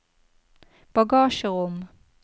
bagasjerom